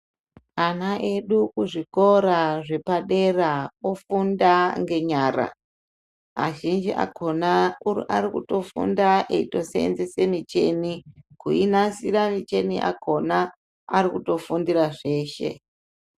Ana edu kuzvikora zvepadera ofunda ngenyara azhinji akona akuru arikutofunda eitosenzesa michini kuinasira michini yakona ari kutofundira zveshe.